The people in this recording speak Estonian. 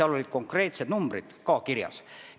Olid isegi konkreetsed numbrid kirjas.